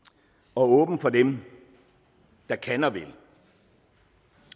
og åbent for dem der kan og vil